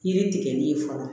Yiri tigɛli ye fɔlɔ